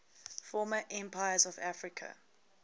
former empires of africa